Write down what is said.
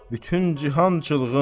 Bütün cihan çılğın.